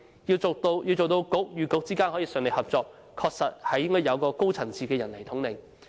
要令局與局之間順利合作，確實需要有高層次的人來統領。